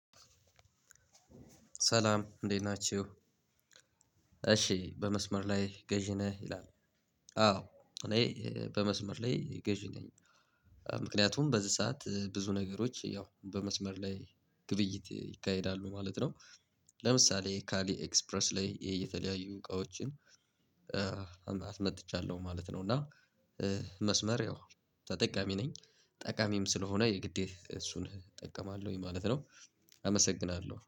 ሰላም እንዴት ናቹ እሺ በመስመር ላይ ገዢ ነህ ይላል? አዎ እኔ በመሰመር ላይ ገዢ ነኝ። ምክንያቱም በዚህ ሰዓት ብዙ ነገሮች ያው በመስመር ላይ ግብይት ይካሄዳሉ ማለት ነው። ለምሳሌ ከአሊ ኤክስፕረስ ላይ የተለያዩ እቃዎችን አስመጥቻለሁ ማለት ነው። እና መስመር ያው ተጠቃሚ ነኝ ጠቃሚም ስለሆነ የግዴታ እሱን እጠቀማለሁኝ ማለት ነው። አመሰግናለው